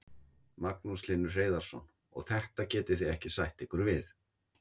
Magnús Hlynur Hreiðarsson: Og þetta getið þið ekki sætt ykkur við?